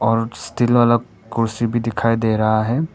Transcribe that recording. और स्टील वाला कुर्सी भी दिखाई दे रहा है।